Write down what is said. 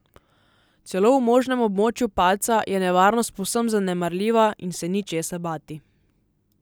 Celo v možnem območju padca je nevarnost povsem zanemarljiva in se ni česa bati.